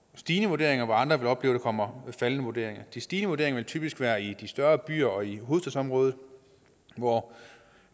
stigende vurderinger og andre vil opleve at der kommer faldende vurderinger de stigende vurderinger vil typisk være i de større byer og i hovedstadsområdet hvor